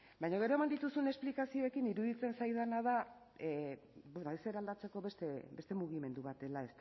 baina gero eman dituzuen esplikazioekin iruditzen zaidana da ezer aldatzeko beste mugimendu bat dela